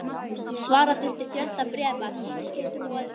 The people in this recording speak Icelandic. Svara þurfti fjölda bréfa, símskeytum og öðru.